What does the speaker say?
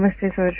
नमस्ते सर